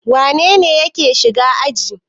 Wane ne yake shiga aji?